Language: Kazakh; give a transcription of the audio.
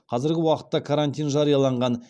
қазіргі уақытта карантин жарияланған